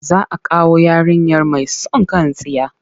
Za a kawo yarinyar mai son kan tsiya.